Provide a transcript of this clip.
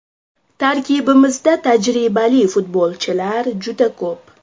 Tarkibimizda tajribali futbolchilar juda ko‘p.